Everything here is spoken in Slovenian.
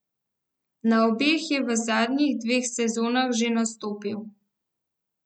Na obeh je v zadnjih dveh sezonah že nastopil.